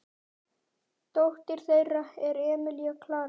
Dóttir þeirra er Emilía Klara.